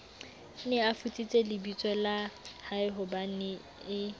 ne a futsitse lebitsola haehobanee